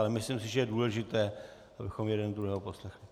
Ale myslím si, že je důležité, abychom jeden druhého poslechli.